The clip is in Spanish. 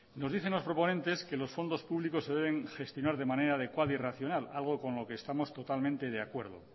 nos dicen los proponentes que los fondos públicos se deben gestionar de manera adecuada y racional algo con lo que estamos totalmente de acuerdo